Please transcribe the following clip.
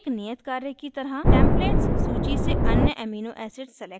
एक नियत कार्य की तरह 1 टेम्पलेट्स सूची से अन्य एमिनो एसिड्स सेलेक्ट करें